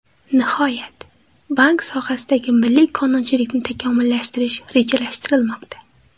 Nihoyat, bank sohasidagi milliy qonunchilikni takomillashtirish rejalashtirilmoqda.